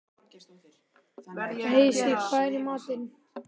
Heisi, hvað er í matinn?